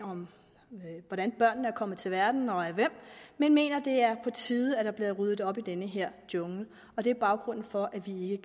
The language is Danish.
om hvordan børnene er kommet til verden og af hvem men mener at det er på tide at der bliver ryddet op i den her jungle og det er baggrunden for at vi